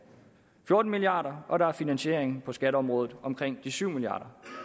fjorten milliard kr og der er finansiering på skatteområdet på omkring syv milliard